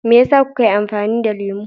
Me yasa kuka yi amfani da lemu?